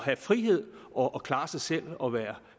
have frihed og klare sig selv og være